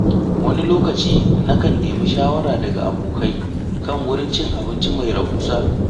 Wani lokaci, na kan nemi shawara daga abokai kan wurin cin abinci mai rahusa.